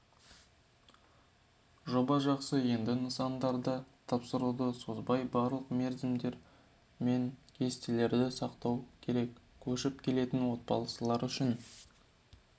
жоба жақсы енді нысандарды тапсыруды созбай барлық мерзімдер мен кестелерді сақтау керек көшіп келетін отбасылар үшін